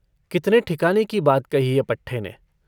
कितने ठिकाने की बात कही है पट्ठे ने।